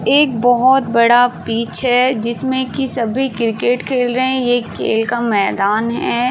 एक बहोत बड़ा पिच है जिसमें की सभी क्रिकेट खेल रहे हैं। ये खेल का मैदान है।